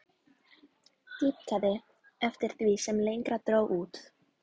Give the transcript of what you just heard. Dýpkaði eftir því sem lengra dró út.